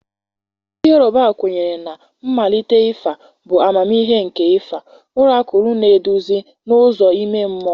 Ndị Yoruba kwenyere na mmalite ịfa bụ amamihe nke ịfa ọrakụlụ na-eduzi n'ụzọ ime mmụọ.